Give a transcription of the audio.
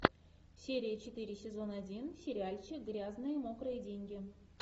серия четыре сезон один сериальчик грязные мокрые деньги